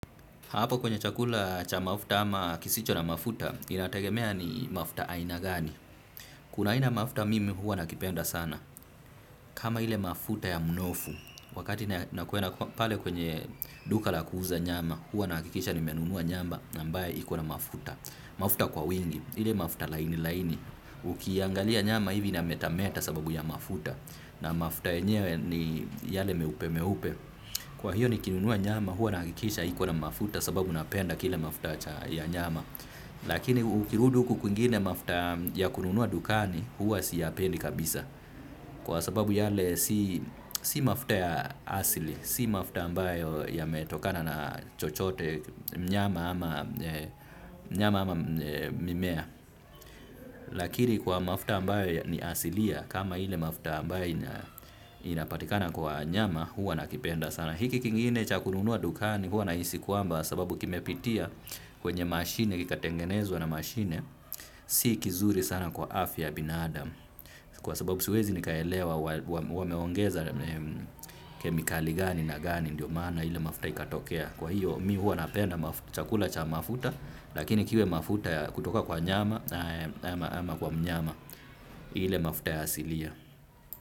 Hapo kwenye chakula cha mafuta ama kisicho na mafuta, inategemea ni mafuta aina gani. Kuna ina mafuta mimi hua nakipenda sana. Kama hile mafuta ya mnofu, wakati na kwenda pale kwenye duka la kuuza nyama, hua nahikisha nimenunua nyamba na ambaye ikona mafuta. Mafuta kwa wingi, hile mafuta laini laini. Ukiangalia nyama hivi na metameta sababu ya mafuta. Na mafuta yenyewe ni yale meupe meupe. Kwa hiyo ni kinunuwa nyama huwa nakikisha ikona mafuta sababu napenda kile mafuta cha ya nyama. Lakini ukirudu huku kuingine mafuta ya kununuwa dukani huwa siyapendi kabisa. Kwa sababu yale si. Si mafuta ya asili, si mafuta ambayo ya metokana na chochote nyama ama eeeeh mimea. Lakini kwa mafuta ambayo ni asilia kama hile mafuta ambayo inapatikana kwa nyama huwa nakipenda sana. Hiki kingine cha kununua dukani huwa na isi kuamba sababu kime pitia kwenye mashine kika tengenezwa na mashine si kizuri sana kwa afya binadam. Kwa sababu siwezi nikaelewa wameongeza kemikali gani na gani ndio maana ile mafuta ikatokea. Kwa hiyo mi huwa napenda chakula cha mafuta lakini kiwe mafuta ya kutoka kwa nyama ama. Ama kwa mnyama hile mafuta ya asilia.